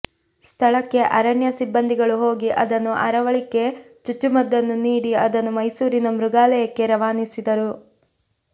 ಸ್ಥಳಕ್ಕೆ ಅರಣ್ಯ ಸಿಬ್ಬಂದಿಗಳು ಹೋಗಿ ಅದನ್ನು ಅರವಳಿಕೆ ಚುಚ್ಚುಮದ್ದನ್ನು ನೀಡಿ ಅದನ್ನು ಮೈಸೂರಿನ ಮೃಗಾಲಯಕ್ಕೆ ರವಾನಿಸಿದರು